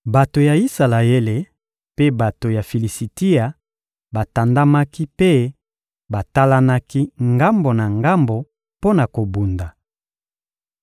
Bato ya Isalaele mpe bato ya Filisitia batandamaki mpe batalanaki ngambo na ngambo mpo na kobunda.